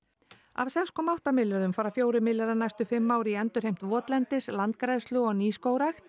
af sex komma átta milljörðum fara fjórir milljarðar næstu fimm ár í endurheimt votlendis landgræðslu og nýskógrækt